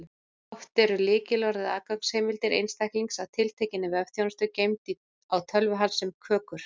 Oft eru lykilorð eða aðgangsheimildir einstaklings að tiltekinni vefþjónustu geymd á tölvu hans sem kökur.